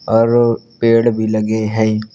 और पेड़ भी लगे हैं।